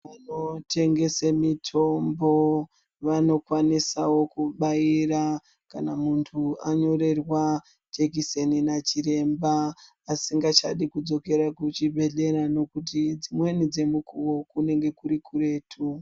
Vanotengese mitombo vanokwanisawo kubaira kana munthu wanyorerwa jekiseni nachiremba asingachadi kudzokera kuchibhedhlera ngekuti dzimweni dzemukowo kunenge kuri kuretu.